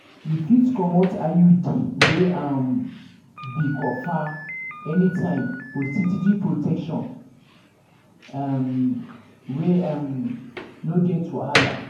you fit comot iud wey um be copper anytime for steady protection um wey um no get wahala.